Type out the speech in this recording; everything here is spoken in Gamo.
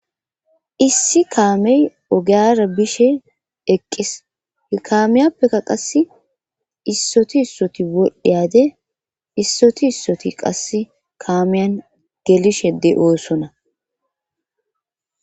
issi kaamey ogeyara bishe eqqis hikaamiyappekka qass issoti issoti wodhdhiyade issoti issoti qasse kaamiyan gelishede oosonna